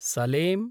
सलें